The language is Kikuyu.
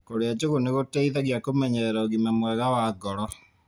Kũrĩa njũgũ nĩgũteithagia kũmenyerera ũgima mwega wa ngoro.